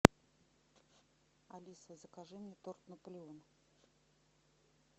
алиса закажи мне торт наполеон